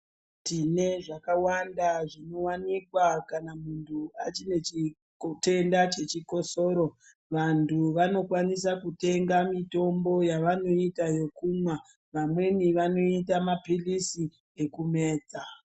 Tine zvakawanda zvinowanikwa kana muntu achine nechitenda chechikosoro vantu vanokwanisa kutenga mitombo yavanoita ekumwa vamweni vanoita mapilisi ekumedza.